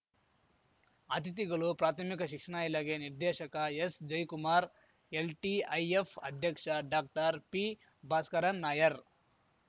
ಅತಿಥಿಗಳು ಪ್ರಾಥಮಿಕ ಶಿಕ್ಷಣ ಇಲಾಖೆ ನಿರ್ದೇಶಕ ಎಸ್‌ಜಯಕುಮಾರ್ ಎಲ್‌ಟಿಐಎಫ್‌ ಅಧ್ಯಕ್ಷ ಡಾಕ್ಟರ್ಪಿಭಾಸ್ಕರನ್‌ ನಾಯರ್